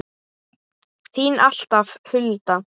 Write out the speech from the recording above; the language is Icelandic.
Þín alltaf, Hulda.